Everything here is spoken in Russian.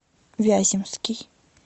вяземский